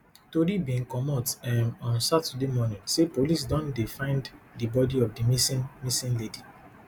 tori bin comot um on saturday morning say police don find di bodi of di missing missing lady